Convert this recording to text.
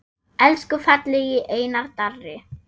Elsku fallegi Einar Darri.